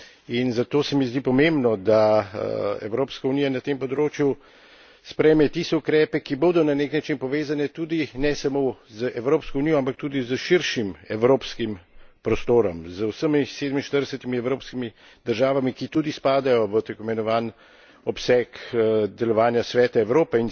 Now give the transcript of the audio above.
In zato se mi zdi pomembno, da Evropska unija na tem področju sprejme tiste ukrepe, ki bodo na nek način povezani tudi ne samo z Evropsko unijo, ampak tudi s širšim evropskim prostorom, z vsemi 47 evropskimi državami, ki tudi spadajo v tako imenovani obseg delovanja Sveta Evrope.